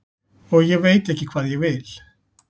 og ég veit ekki hvað ég vil.